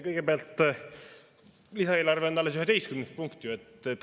Kõigepealt, lisaeelarve on ju alles 11. punkt.